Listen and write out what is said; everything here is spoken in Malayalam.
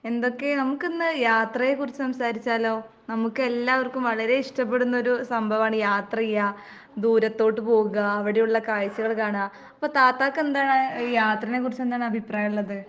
എന്തൊക്കെ? നമുക്കിന്ന് യാത്രയെക്കുറിച്ച് സംസാരിച്ചാലോ? നമുക്കെല്ലാവർക്കും വളരെ ഇഷ്ടപ്പെടുന്നൊരു സംഭവാണ് യാത്രെയ്യാ, ദൂരത്തോട്ട് പോവുക അവടെയുള്ള കാഴ്ചകള് കാണ്ക. അപ്പൊ താത്താക്കെന്താണ് ഈ യാത്രേനെക്കുറിച്ചെന്താണ് അഭിപ്രായോള്ളത്?